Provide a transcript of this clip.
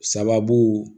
Sababu